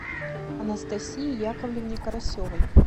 анастасии яковлевне карасевой